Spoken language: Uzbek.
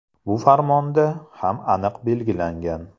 Bu farmonda ham aniq belgilangan.